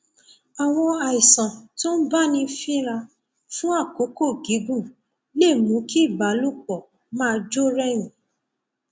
àwọn àìsàn tó ń báni fínra fún àkókò gígùn lè mú kí ìbálòpọ máa jó rẹyìn